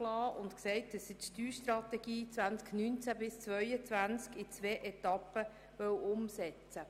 Er sagte, er wolle die Steuerstrategie 2019–2022 in zwei Etappen umsetzen.